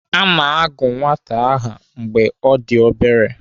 Ana agụ nwata aha mgbe ọ dị obere.